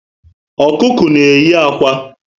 Ọkụkọ na eyi ákwà